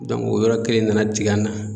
o yɔrɔ kelen nana tig'an na.